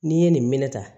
N'i ye nin minɛ tan